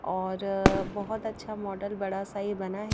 और बहुत अच्छा मॉडल बड़ा सा ये बना है।